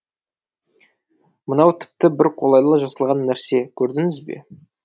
мынау тіпті бір қолайлы жасалған нәрсе көрдіңіз бе